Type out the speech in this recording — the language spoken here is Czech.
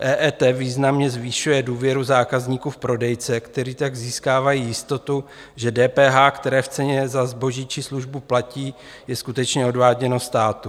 EET významně zvyšuje důvěru zákazníků v prodejce, kteří tak získávají jistotu, že DPH, které v ceně za zboží či službu platí, je skutečně odváděno státu.